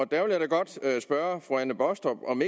der vil jeg da godt spørge fru anne baastrup om